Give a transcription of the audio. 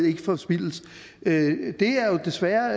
ikke forspildes det er jo desværre